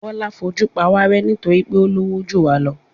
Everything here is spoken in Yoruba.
Bọ́lá fojú pawárẹ́ nítorí pé ó lówó jù wá lọ.